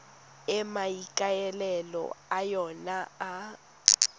e maikaelelo a yona e